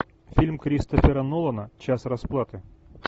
фильм кристофера нолана час расплаты